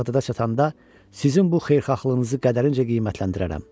Bağdada çatanda sizin bu xeyirxahlığınızı qədərincə qiymətləndirərəm.